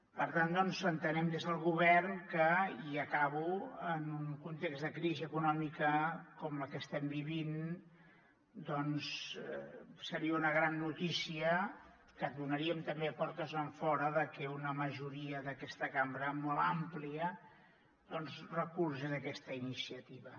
per tant doncs entenem des del govern i acabo que en un context de crisi econòmica com el que estem vivint doncs seria una gran notícia que donaríem també de portes enfora que una majoria d’aquesta cambra molt àmplia recolzés aquesta iniciativa